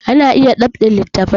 Ana iya dab'in littafi